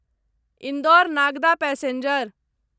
Indore Nagda passenger